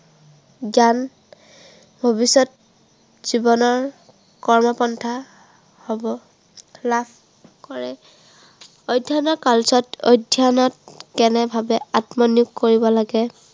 জ্ঞান ভৱিষ্য়ত জীৱনৰ কৰ্মপন্থা হ'ব, লাভ কৰে। অধ্য়য়নৰ কালছোৱাত অধ্য়য়নত, কেনে ভাৱে আত্মনিয়োগ কৰিব লাগে